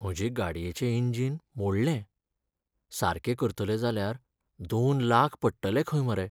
म्हजे गाडयेचें इंजिन मोडलें. सारकें करतले जाल्यार दोन लाख पडटले खंय मरे.